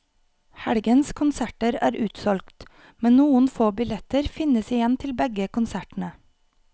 Helgens konserter er utsolgt, men noen få billetter finnes igjen til begge konsertene.